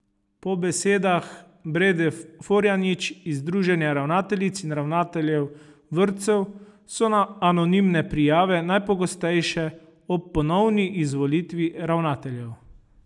Po besedah Brede Forjanič iz združenja ravnateljic in ravnateljev vrtcev so anonimne prijave najpogostejše ob ponovni izvolitvi ravnateljev.